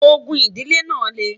ògún idile nà le